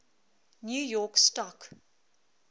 new york stock